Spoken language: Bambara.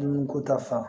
Dumuni ko ta fan